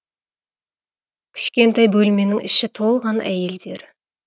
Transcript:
кішкентай бөлменің іші толған әйелдер